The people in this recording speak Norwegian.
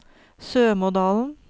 Sømådalen